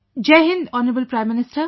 Jai Hind, Hon'ble Prime Minister